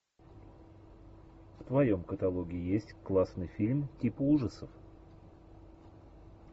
в твоем каталоге есть классный фильм типа ужасов